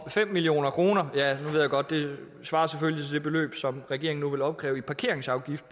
at fem million kroner svarer til det beløb som regeringen nu vil opkræve i parkeringsafgift